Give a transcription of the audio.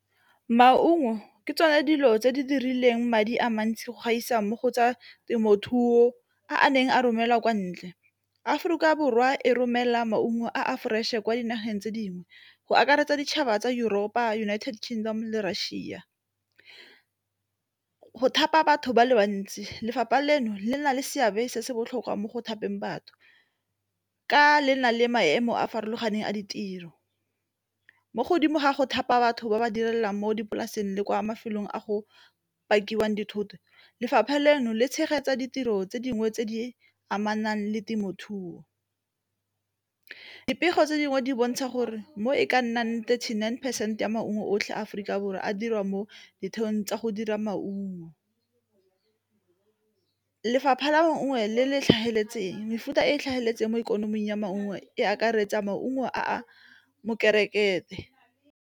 Maungo ke tsone dilo tse di dirileng madi a mantsi go gaisa mo go tsa temothuo, a a neng a romelwa kwa ntle. Aforika Borwa e romela maungo a fresh e kwa dinageng tse dingwe go akaretsa ditšhaba tsa Europe, United Kingdom le ma-Russia go thapa batho ba le bantsi lefapha leno le na le seabe se se botlhokwa mo go thapiseng batho ka lena le maemo a a farologaneng a ditiro. Mo godimo ga go thapa batho ba ba direlang mo dipolaseng le kwa mafelong a go pakiwang dithoto, lefapha leno le tshegetsa ditiro tse dingwe tse di amanang le temothuo, dipego tse dingwe di bontsha gore mo e ka nnang thirty-nine percent ya maungo otlhe a Aforika Borwa a dirwa mo ditheong tsa go dira maungo lefapha la nngwe le le tlhamaletseng mefuta e e tlhamaletseng mo ikonoming ya maungo e akaretsa maungo a .